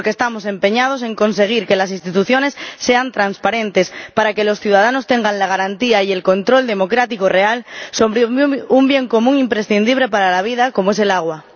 Porque estamos empeñados en conseguir que las instituciones sean transparentes, para que los ciudadanos tengan la garantía y el control democrático real sobre un bien común imprescindible para la vida, como es el agua.